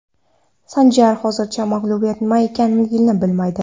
Sanjar hozircha mag‘lubiyat nima ekanini bilmaydi.